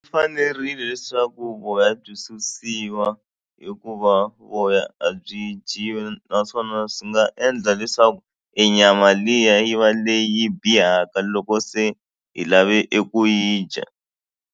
Fanerile leswaku voya byi susiwa hikuva voya a byi dyiwi naswona swi nga endla leswaku nyama liya yi va leyi bihaka loko se hi lave eku yi dya.